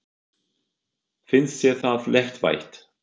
Finnst þér það léttvægt?